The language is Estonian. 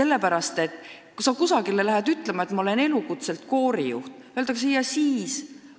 Ning kui sa kusagil ütled, et ma olen elukutselt koorijuht, siis öeldakse: "Ja siis?